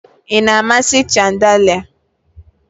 Ị na-amasị chandalia?